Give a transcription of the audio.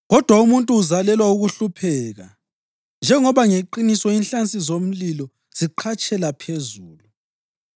Kodwa umuntu uzalelwa ukuhlupheka njengoba ngeqiniso inhlansi zomlilo ziqhatshela phezulu.